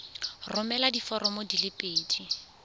romela diforomo di le pedi